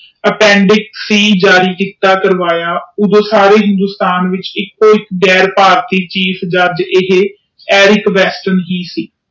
ਅਪਪੀਨਡਿੰਗ ਸੀ ਜਾਰੀ ਕਰਵਾਇਆ ਓਦੋ ਸਾਰੇ ਹਿੰਦੁਸਤਾਨ ਚ ਗੈਰ ਭਾਰਤੀ ਚੀਜ ਫੇਲ ਗਈ ਇਹ ਸੀ